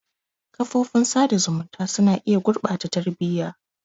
Kafofin sada zumunta suna iya gurɓata tarbiyyar.